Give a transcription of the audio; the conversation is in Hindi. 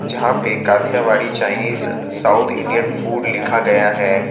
जहां पे Kathiawadi Chinese south Indian food लिखा गया है।